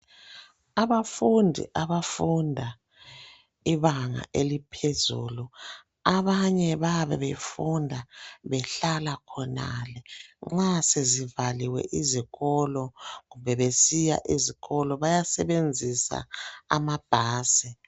Abafundi abafunda ibanga eliphezulu abanye bayabe befunda behlala khonale nxa sezivaliwe izikolo kumbe besiya ezikolo abanye bayasebenzisa ama bus